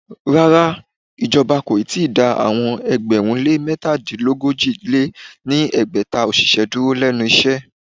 Rárá, ìjọba kò ì tíì dá àwọn ẹgbẹ̀rún lé métadínogójì lé ní ẹgbẹ́ta òṣìṣẹ́ dúró lénu iṣẹ́.